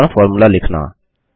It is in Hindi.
साधारण फॉर्मूला लिखना